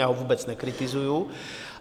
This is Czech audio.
Já ho vůbec nekritizuji.